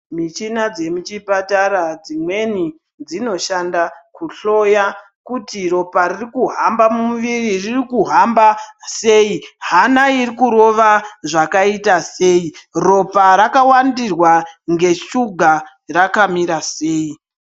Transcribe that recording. Michina dzemuchipatara dzimweni dzinoshanda kuhloya kuti rop ririkuhamba mumuviri, ririkuhamba sei , hana irikurova zvakaita sei , Ropa rakawandirwa ngeshuga rakamira sei.